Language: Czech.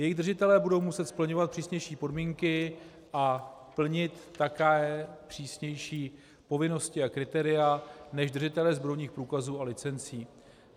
Jejich držitelé budou muset splňovat přísnější podmínky a plnit také přísnější povinnosti a kritéria než držitelé zbrojních průkazů a licencí.